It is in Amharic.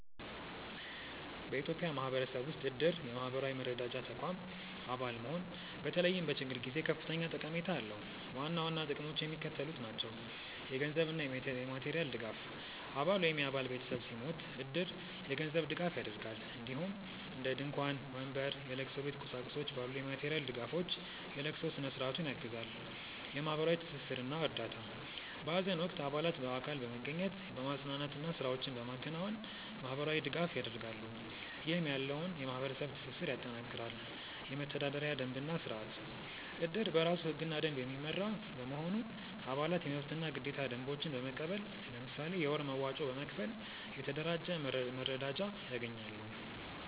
በኢትዮጵያ ማህበረሰብ ውስጥ እድር (የማህበራዊ መረዳጃ ተቋም) አባል መሆን በተለይም በችግር ጊዜ ከፍተኛ ጠቀሜታ አለው። ዋና ዋና ጥቅሞቹ የሚከተሉት ናቸው - የገንዘብ እና የማቴሪያል ድጋፍ: አባል ወይም የአባል ቤተሰብ ሲሞት እድር የገንዘብ ድጋፍ ያደርጋል፣ እንዲሁም እንደ ድንኳን፣ ወንበር፣ የለቅሶ ቤት ቁሳቁሶች ባሉ የማቴሪያል ድጋፎች የለቅሶ ስነ-ስርዓቱን ያግዛል። የማህበራዊ ትስስር እና እርዳታ: በሀዘን ወቅት አባላት በአካል በመገኘት፣ በማፅናናት እና ስራዎችን በማከናወን ማህበራዊ ድጋፍ ያደርጋሉ፣ ይህም ያለውን የማህበረሰብ ትስስር ያጠናክራል። የመተዳደሪያ ደንብ እና ስርአት: እድር በራሱ ህግና ደንብ የሚመራ በመሆኑ፣ አባላት የመብትና ግዴታ ደንቦችን በመቀበል፣ ለምሳሌ የወር መዋጮ በመክፈል፣ የተደራጀ መረዳጃ ያገኛሉ።